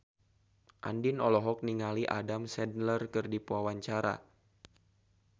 Andien olohok ningali Adam Sandler keur diwawancara